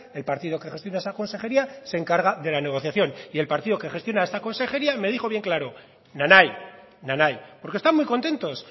el partido que gestiona esa consejería se encarga de la negociación y el partido que gestiona esta consejería me dijo bien claro na nai na nai porque están muy contentos